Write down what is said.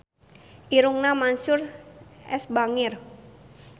Irungna Mansyur S bangir